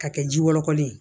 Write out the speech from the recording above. Ka kɛ ji wɔlɔkɔlen ye